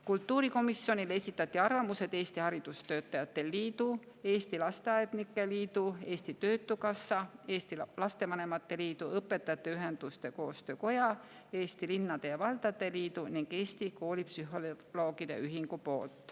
Kultuurikomisjonile esitasid arvamused Eesti Haridustöötajate Liit, Eesti Lasteaednike Liit, Eesti Töötukassa, Eesti Lastevanemate Liit, Õpetajate Ühenduste Koostöökoda, Eesti Linnade ja Valdade Liit ning Eesti Koolipsühholoogide Ühing.